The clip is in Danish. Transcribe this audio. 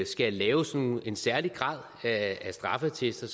skal lave sådan en særlig grad af straffeattester